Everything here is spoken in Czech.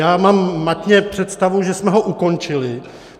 Já mám matně představu, že jsme ho ukončili.